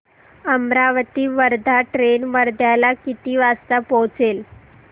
Amravati Wardha train वर्ध्याला किती वाजता पोहचेल